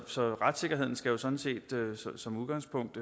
så retssikkerheden skal jo sådan set som udgangspunkt